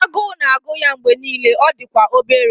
Agụụ na-agụ ya mgbe niile, ọ dị kwa obere